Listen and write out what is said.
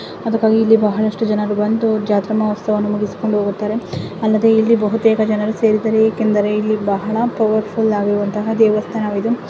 ಅದಕ್ಕಾಗಿ ಇಲ್ಲಿ ಬಹಳಷ್ಟು ಜನರು ಬಂದು ಜಾತ್ರಾ ಮಹೋತ್ಸವವನ್ನು ಮುಗಿಸಿಕೊಂಡು ಹೋಗುತ್ತಾರೆ ಅಲ್ಲದೆ ಇಲ್ಲಿ ಬಹುತೇಕ ಜನರು ಸೇರಿದ್ದಾರೆ ಏಕೆಂದರೆ ಇಲ್ಲಿ ಬಹಳ ಪವರ್ ಫುಲ್ ಆಗಿರುವಂತಹ ದೇವಸ್ಥಾನವಿದು.